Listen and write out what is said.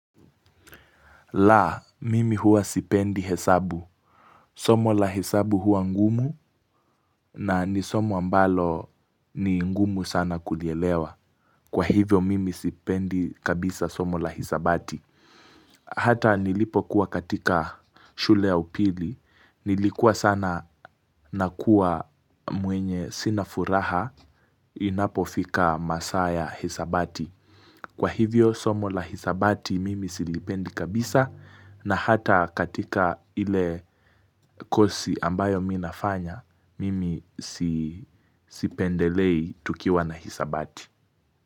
La, mimi huwa sipendi hesabu. Somo la hesabu huwa ngumu na ni somo ambalo ni ngumu sana kulielewa. Kwa hivyo mimi sipendi kabisa somo la hesabati. Hata nilipo kuwa katika shule ya upili nilikuwa sana na kuwa mwenye sina furaha inapo fika saa ya hisabati. Kwa hivyo somo la hisabati mimi silipendi kabisa na hata katika ile kosi ambayo mimi nafanya mimi sipendelei tukiwa na hisabati.